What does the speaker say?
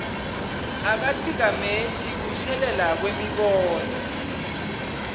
akatsikameti kushelela kwemibono